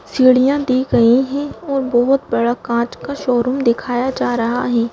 सीढ़ियां दी गई हैं और बहुत बड़ा काँच का शोरूम दिखाया जा रहा है।